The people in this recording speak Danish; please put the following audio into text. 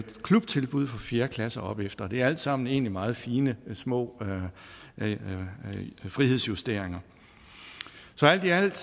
klubtilbud for fjerde klasse og opefter det er alt sammen egentlig meget fine og små frihedsjusteringer så alt i alt